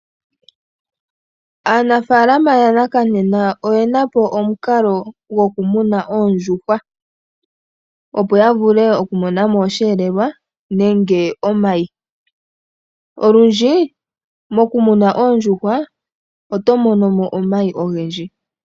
Aanafaalama yanakanena oyena po omukalo goku muna oondjuhwa opo ya vule oku monamo oshiyelelwa nenge omayi. Olundji mokumuna oondjuhwa oto monomo omayi ogendji.